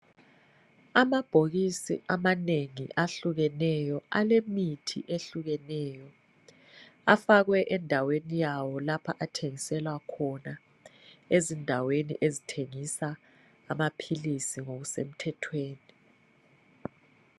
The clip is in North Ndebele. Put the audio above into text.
Amabhokisi amanengi ahlukeneyo alemithi ehlukeneyo afakwe endaweni yawo lapho athengiselwa khona ezindaweni ezithengisa amaphilisi ngokusemthethweni.